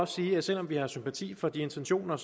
sige at selv om vi har sympati for de intentioner